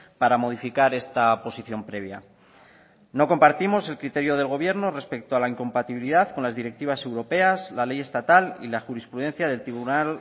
para modificar esta posición previa no compartimos el criterio del gobierno respecto a la incompatibilidad con las directivas europeas la ley estatal y la jurisprudencia del tribunal